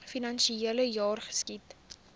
finansiele jaar geskied